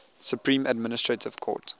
supreme administrative court